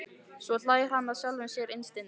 Svo hlær hann að sjálfum sér innst inni.